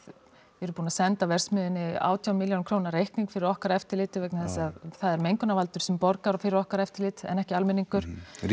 við erum búin að senda verksmiðjunni átján reikning fyrir okkar eftirliti vegna þess að það er mengunnarvaldur sem borgar fyrir okkar eftirlit en ekki almenningur